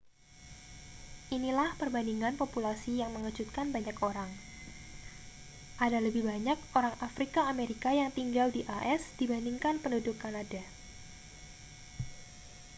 inilah perbandingan populasi yang mengejutkan banyak orang ada lebih banyak orang afrika amerika yang tinggal di as dibandingkan penduduk kanada